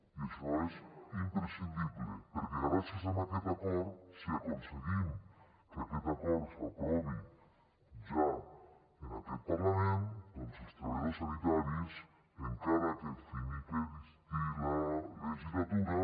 i això és imprescindible perquè gràcies a aquest acord si aconseguim que aquest acord s’aprovi ja en aquest parlament els treballadors sanitaris encara que s’acabi la legislatura